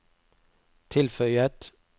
tilføyet